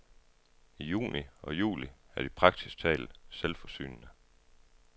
I juni og juli er de praktisk talt selvforsynende.